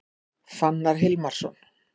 Fannar Hilmarsson